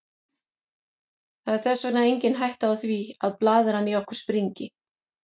Það er þess vegna engin hætta á því að blaðran í okkur springi.